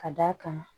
Ka d'a kan